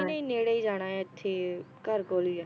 ਨਹੀਂ ਨਹੀਂ ਨੇੜੇ ਈ ਜਾਣਾ ਏ ਇਥੇ ਘਰ ਕੋਲ ਹੀ ਹੈ।